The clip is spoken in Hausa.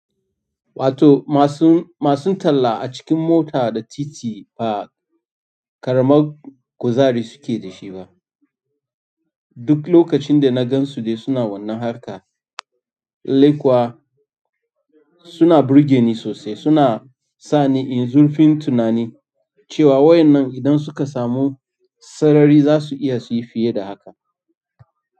Wato masu, masu talla a cikin mota da titi ba ƙaramar kuzari suke da shi ba. Duk lokacin da na gan su dai suna wannan harka, lallai kuwa suna burge ni sosai. Suna sa ni in zurfin tunani cewa wayan nan idan suka samu sarari za su iya su yi fiye da haka.